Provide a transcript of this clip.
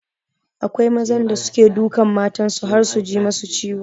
Akwai mazan da suke dukan matan su har su ji masu ciwo